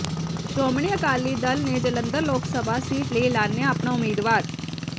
ਸ਼੍ਰੋਮਣੀ ਅਕਾਲੀ ਦਲ ਨੇ ਜਲੰਧਰ ਲੋਕ ਸਭਾ ਸੀਟ ਲਈ ਐਲਾਨਿਆ ਆਪਣਾ ਉਮੀਦਵਾਰ